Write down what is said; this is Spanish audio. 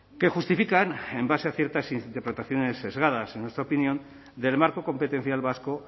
que justifican en base a ciertas interpretaciones sesgadas en nuestra opinión del marco competencial vasco